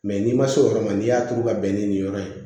Mɛ n'i ma se o yɔrɔ ma n'i y'a turu ka bɛn ni nin yɔrɔ ye